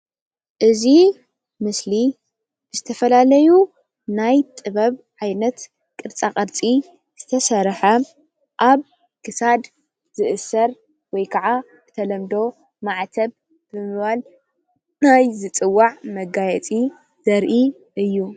እዙይ ምስሊ ዝተፈላለዩ ናይ ጥበብ ዓይነት ቅርፃ ቅርፂ ዝተሰርሐ ኣብ ክሳድ ዝእሰር ወይ ከዓ ብተለምዶ ማዕተብ ብምባል ናይ ዝፅዋዕ መጋየፂ ዘርኢ እዩ።